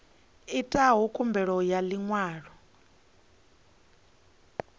itaho khumbelo ya ḽi ṅwalo